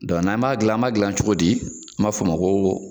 Dɔn n' an b'a gilan an b'a gilan cogo di an b'a fɔ ma ko